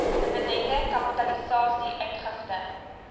dividende kapitalisasie uitgifte